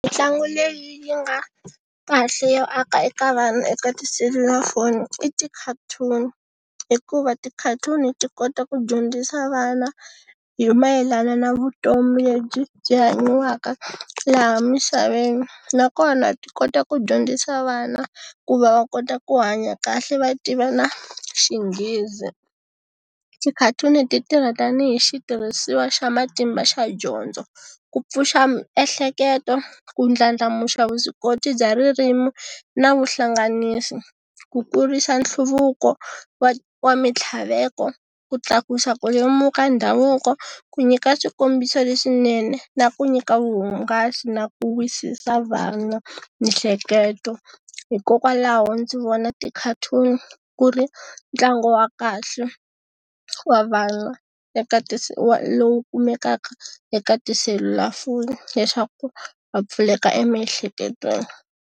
Mintlangu leyi nga kahle yo aka eka vana eka tiselulafoni i ti-cartoon. Hikuva ti-cartoon-i ti kota ku dyondzisa vana hi mayelana na vutomi lebyi byi hanyiwaka laha misaveni. Nakona ti kota ku dyondzisa vana, ku va va kota ku hanya kahle va tiva na xinghezi. Ti-cartoon-i ti tirha tanihi xitirhisiwa xa matimba xa dyondzo. Ku pfuxa miehleketo, ku ndlandlamuxa vuswikoti bya ririmi na vuhlanganisi. Ku kurisa nhluvuko wa wa mitlhaveko, ku tlakusa ku lemuka ndhavuko, ku nyika swikombiso leswinene na ku nyika vuhungasi na ku wisisa vana miehleketo. Hikokwalaho ndzi vona ti-cartoon-i ku ri ntlangu wa kahle, wa vana, eka ti wa lowu kumekaka eka tiselulafoni leswaku va pfuleka emiehleketweni.